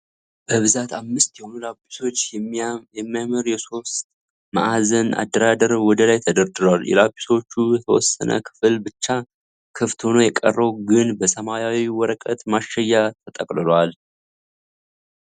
በብዛት አምስት የሆኑ ላጲሶች በሚያምር የሶስት መአዘን አደራደር ወደላይ ተደርድረዋል። የላጲሶቹ የተወሰነ ክፍል ብቻ ክፍት ሆኖ የቀረው ግን በሰማያዊ ወረቀት ማሸጊያ ተጠቅልሏል።